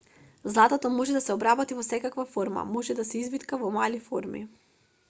златото може да се обработи во секакви форми може да се извитка во мали форми